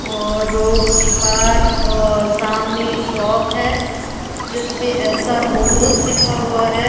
और रोड के पार सामने शॉप है जिस पे एस_आर मोटर्स लिखा हुआ है।